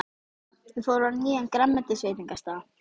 Þau fóru á nýjan grænmetisveitingastað.